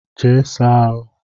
Jee saa ahụ!